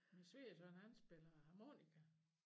Men svigersøn han spiller harmonika